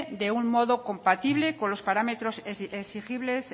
de un modo compatible con los parámetros exigibles